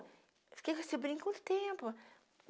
Fiquei com esse brinco um tempo.